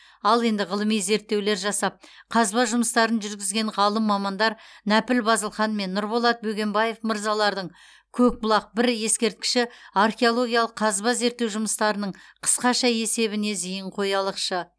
ал енді ғылыми зерттеулер жасап қазба жұмыстарын жүргізген ғалым мамандар нәпіл базылхан мен нұрболат бөгенбаев мырзалардың көкбұлақ бір ескерткіші археологиялық қазба зерттеу жұмыстарының қысқаша есебіне зейін қоялықшы